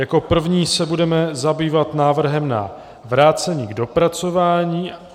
Jako první se budeme zabývat návrhem na vrácení k dopracování.